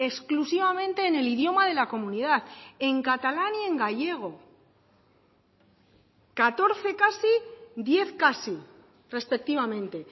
exclusivamente en el idioma de la comunidad en catalán y en gallego catorce casi diez casi respectivamente